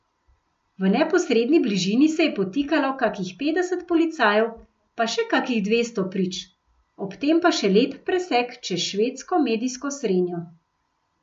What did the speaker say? V neposredni bližini se je potikalo kakih petdeset policajev pa še kakih dvesto prič, ob tem pa še lep presek čez švedsko medijsko srenjo.